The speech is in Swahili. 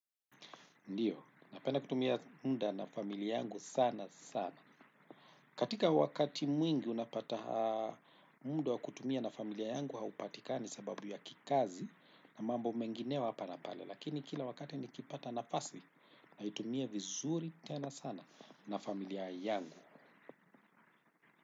Ndiyo napenda kutumia muda na familia yangu sana sana. Katika wakati mwingi unapata muda wa kutumia na familia yangu haupatikani sababu ya kikazi na mambo mengineyo hapa na pale. Lakini kila wakati nikipata nafasi naitumia vizuri tena sana na familia yangu.